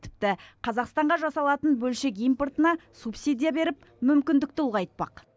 тіпті қазақстанға жасалатын бөлшек импортына субсидия беріп мүмкіндікті ұлғайтпақ